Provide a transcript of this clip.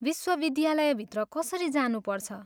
विश्वविद्यालयभित्र कसरी जानुपर्छ?